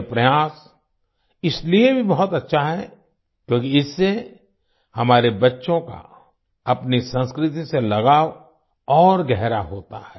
यह प्रयास इसलिए भी बहुत अच्छा है क्योंकि इससे हमारे बच्चों का अपनी संस्कृति से लगाव और गहरा होता है